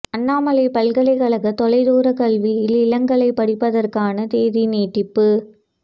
அண்ணாமலைப் பல்கலைக்கழக தொலைதூர கல்வியில் இளங்கலை படிப்பதற்கான தேதி நீட்டிப்பு